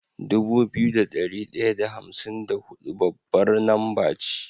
Dubu biyu da dari daya da hamsin da hudu babbar namba ce